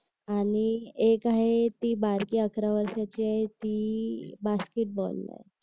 आणि एक आहे ती बारकी अकरा वर्षाची आहे ती बास्केट बॉल आहे